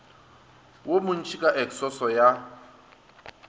wo montši ka eksoso ya